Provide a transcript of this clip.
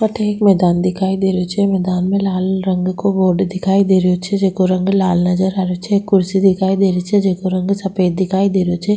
अठे एक मैदान दिखाई दे रियो छे मैदान में लाल रंग को बोर्ड दिखाई दे रियो छे जेको रंग लाल नजर आ रियो छे एक कुर्सी दिखाई दे रही छे जेको रंग सफ़ेद दिखाई दे रहियो छे।